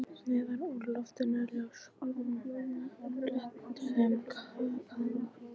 Neðan úr loftinu ljósakróna í fléttuðum kaðli.